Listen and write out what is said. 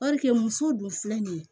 muso dun filɛ nin ye